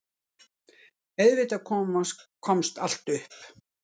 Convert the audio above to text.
Auðvitað komst allt upp.